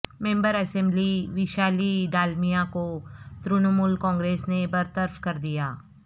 ممبر assembly Vaishali Dalmiya کو ترنمول کانگریس نے برطرف کردیا